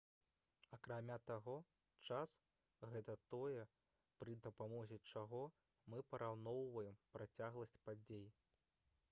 акрамя таго час гэта тое пры дапамозе чаго мы параўноўваем працягласць падзей